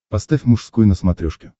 поставь мужской на смотрешке